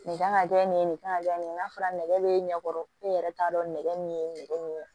Nin kan ka kɛ nin ye nin kan ka kɛ nin ye n'a fɔra nɛgɛ bɛ ɲɛkɔrɔ e yɛrɛ t'a dɔn nɛgɛ min ye nɛgɛ min ye